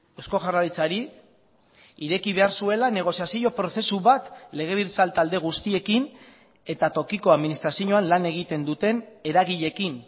eusko jaurlaritzari ireki behar zuela negoziazio prozesu bat legebiltzar talde guztiekin eta tokiko administrazioan lan egiten duten eragileekin